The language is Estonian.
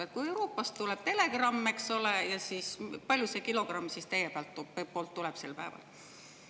Et kui Euroopast tuleb telegramm, eks ole, ja siis … palju see kilogramm siis teie poolt tuleb sel päeval?